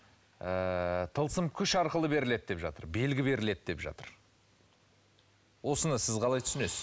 ыыы тылысым күш арқылы беріледі деп жатыр белгі беріледі деп жатыр осыны сіз қалай түсінесіз